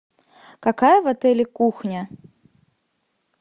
какая в отеле кухня